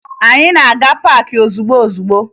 Anyị na-aga paakị ozugbo ozugbo